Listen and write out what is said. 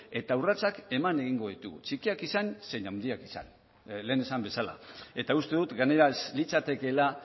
eta urratsak eman egingo ditugu txikiak izan zein handiak esan lehen esan bezala eta uste dut gainera ez litzatekeela